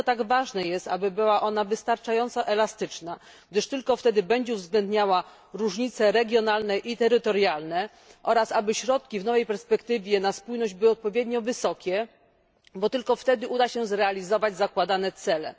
Dlatego tak ważne jest, aby była ona wystarczająco elastyczna, gdyż tylko wtedy będzie uwzględniała różnice regionalne i terytorialne, oraz aby środki przeznaczone na spójność w nowej perspektywie finansowej były odpowiednio wysokie, bo tylko wtedy uda się zrealizować zakładane cele.